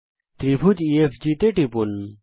ত্রিভুজ ইএফজি তে টিপুন